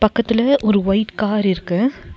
பக்கத்துல ஒரு white car இருக்கு.